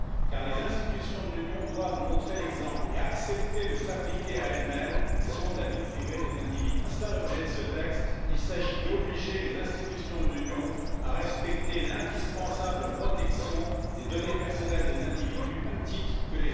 smysl. Závěrem mi dovolte tady dodat, že je důležité, jak my to budeme komunikovat navenek, že celé GDPR je často předmětem mýtů a jeho účelem není šikana, ale ochrana obyčejných lidí, a to si myslím, že by měl být hlavní vzkaz dnešního setkání tady nad touto legislativou.